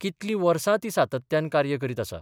कितलीं वर्सा ती सातत्यान कार्य करीत आसा.